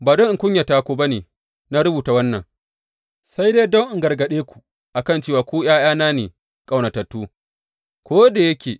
Ba don in kunyata ku ba ne na rubuta wannan, sai dai don in gargaɗe ku a kan cewa ku ’ya’yana ne, ƙaunatattu.